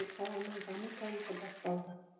қаланың даму тарихы басталды